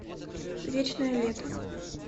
вечное лето